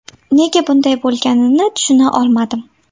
Nega bunday bo‘lganini tushuna olmadim.